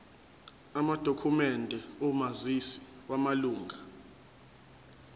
amadokhumende omazisi wamalunga